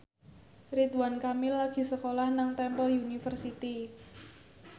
Ridwan Kamil lagi sekolah nang Temple University